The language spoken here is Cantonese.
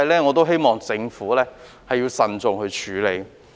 我希望政府亦要慎重處理。